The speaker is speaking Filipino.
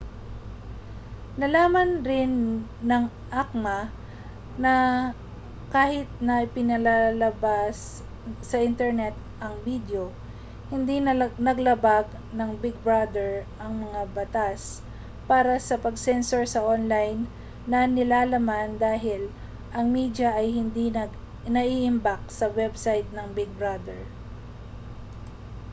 nalaman rin ng acma na kahit na ipinapalabas sa internet ang bidyo hindi nalabag ng big brother ang mga batas para sa pag-censor sa online na nilalaman dahil ang media ay hindi naiimbak sa website ng big brother